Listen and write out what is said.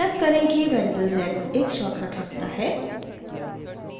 याद करें कि वेरिएबल z एक शॉर्टकट रखता है